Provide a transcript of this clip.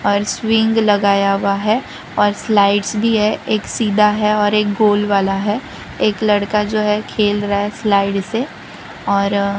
और स्विंग लगाया हुआ है और स्लाइड्स भी है एक सीधा है और एक गोल वाला है एक लड़का जो है खेल रहा है स्लाइड से और --